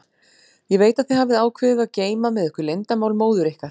Ég veit að þið hafið ákveðið að geyma með ykkur leyndarmál móður ykkar.